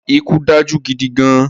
Ikú dájú gidi gan-an